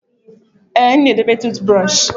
Ee, m na edobe tụụt brọshị.